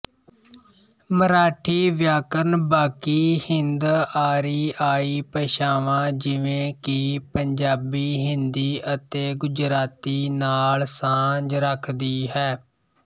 ਮਰਾਠੀ ਵਿਆਕਰਨ ਬਾਕੀ ਹਿੰਦਆਰੀਆਈ ਭਾਸ਼ਾਵਾਂ ਜਿਵੇਂ ਕਿ ਪੰਜਾਬੀ ਹਿੰਦੀ ਅਤੇ ਗੁਜਰਾਤੀ ਨਾਲ ਸਾਂਝ ਰੱਖਦੀ ਹੈ